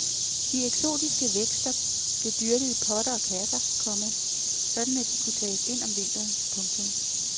De eksotiske vækster blev dyrket i potter og kasser, komma sådan at de kunne tages ind om vinteren. punktum